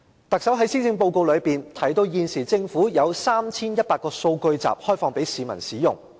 特首在施政報告中提到，政府現時已開放 3,100 個數據集供市民使用。